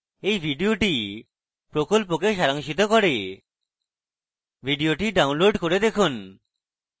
এই video spoken প্রকল্পকে সারাংশিত করে video download করে দেখুন